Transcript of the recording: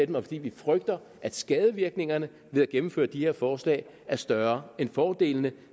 dem og fordi vi frygter at skadevirkningerne ved at gennemføre de her forslag er større end fordelene